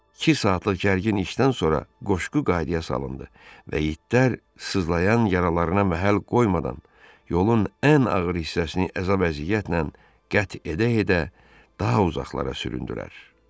İki saatlıq gərgin işdən sonra qoşqu qaydaya salındı və itlər sızlayan yaralarına məhəl qoymadan, yolun ən ağır hissəsini əzab-əziyyətlə qət edə-edə daha uzaqlara süründülər.